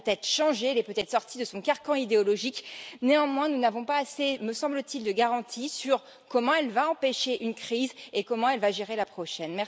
Elle a peut être changé, elle est peut être sortie de son carcan idéologique, néanmoins, nous n'avons pas assez, me semble t il, de garanties sur comment elle va empêcher une crise et comment elle va gérer la prochaine.